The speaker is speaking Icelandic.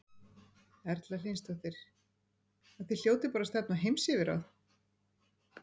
Erla Hlynsdóttir: Og þið hljótið bara að stefna á heimsyfirráð?